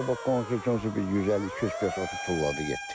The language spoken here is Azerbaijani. Qabaq qonşu bir 150-200 pes otu tulladı getdi.